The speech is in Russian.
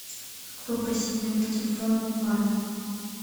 как попросить номер телефона у парня